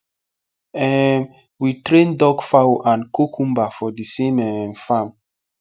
um we train duck fowl and kokumba for the same um farm